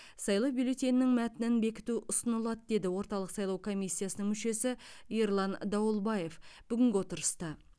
сайлау бюллетенінің мәтінін бекіту ұсынылады деді орталық сайлау комиссиясының мүшесі ерлан дауылбаев бүгінгі отырыста